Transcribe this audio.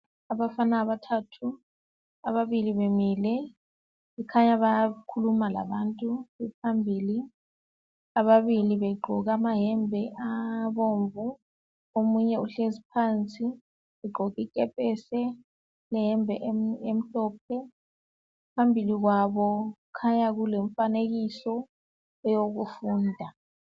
Abafana abathathu ababili bemile kukhanya bayakhuluma labantu phambili. Ababili begqoke amayembe abomvu omunye uhlezi phansi ugqoke ikepesi leyembe emhlophe. Phambili kwabo kukhanya kulomfanekiso owokufunda.